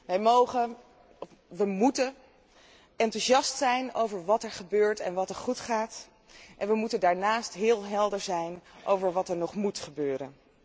Wij mogen enthousiast zijn over wat er gebeurt en wat er goed gaat, maar wij moeten daarnaast heel helder zijn over wat er nog moet gebeuren.